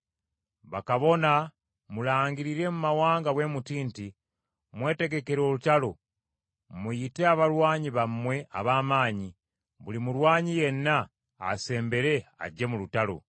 Bakabona mulangirire mu mawanga bwe muti nti, Mwetegekere olutalo! Muyite abalwanyi bammwe ab’amaanyi, buli mulwanyi yenna asembere ajje mu lutalo.